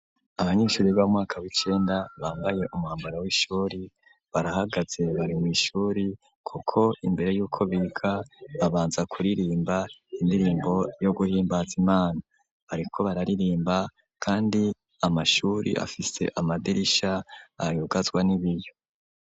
Abanyeshuri b'amwaka w’icenda bambaye umwambaro w'ishuri barahagaze bari mw’ishuri kuko imbere yuko biga babanza kuririmba indirimbo yo guhimbaza Imana ,bariko bararirimba kandi amashuri afise amadirisha ayugazwa n'ibiyo.